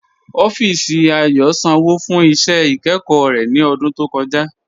Ọffísì Ayò sànwo fún iṣẹ́ ikẹ́kọ̀ rẹ̀ ní ọ̀dún tó kọ̀ja.